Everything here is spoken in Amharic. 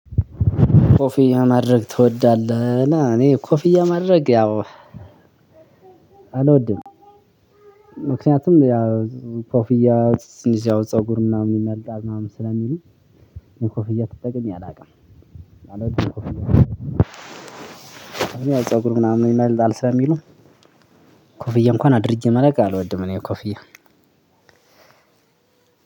ኮፍያ ማድረግ ትወዳለህ ላ እኔ ኮፍያ ማድረግ ያው አልወድም። ምክንያቱም ያው ኮፍያ ትንሽ ያው ፀጉር ምናምን ይመልጣል ምናምን ስለሚሉ ኮፍያ ተጠቅሜ አላቅም። ማለት ኮፍያ። እኔ ፀጉር ምናምን ይመልጣል ስለሚሉ ኮፍያ እንኳን አድርጌ እማላቅ አልወድም እኔ ኮፍያ።